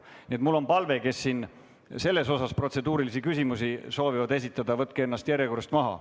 Nii et mul on palve neile, kes selle kohta protseduurilisi küsimusi soovivad esitada: võtke ennast järjekorrast maha.